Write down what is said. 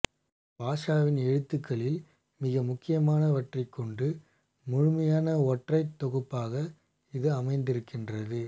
பாஷோவின் எழுத்துக்களில் மிக முக்கியமானவற்றைக் கொண்ட முழுமையான ஒற்றைத் தொகுப்பாக இது அமைந்திருக்கிறது